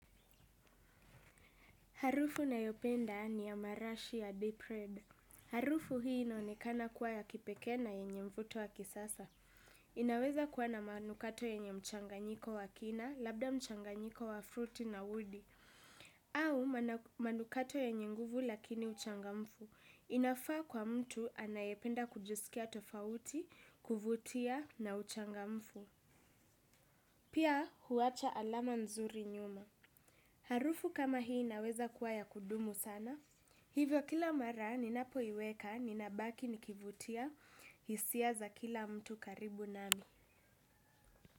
Harufu nayopenda ni ya marashi ya deep red. Harufu hii inaonekana kuwa ya kipeke na yenye mvuto wa kisasa. Inaweza kuwa na manukato yenye mchanganyiko wa kina, labda mchanganyiko wa fruti na udi. Au manukato yenye nguvu lakini uchangamfu. Inafaa kwa mtu anayependa kujusikia tofauti, kuvutia na uchangamfu. Pia huwacha alama nzuri nyuma. Harufu kama hii naweza kua ya kudumu sana. Hivyo kila mara ninapo iweka ninabaki nikivutia hisia za kila mtu karibu nami.